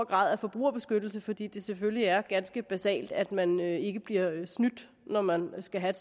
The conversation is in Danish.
grad af forbrugerbeskyttelse fordi det selvfølgelig er ganske basalt at man ikke bliver snydt når man skal have